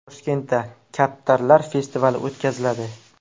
Toshkentda kaptarlar festivali o‘tkaziladi.